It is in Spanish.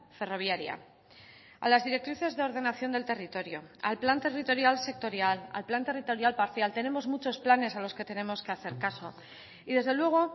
ferroviaria a las directrices de ordenación del territorio al plan territorial sectorial al plan territorial parcial tenemos muchos planes a los que tenemos que hacer caso y desde luego